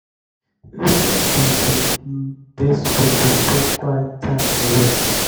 wetin be di um best way to spend quiet time alone?